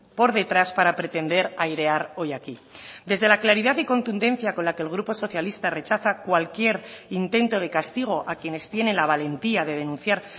por detrás para pretender airear hoy aquí desde la claridad y contundencia con la que el grupo socialista rechaza cualquier intento de castigo a quienes tienen la valentía de denunciar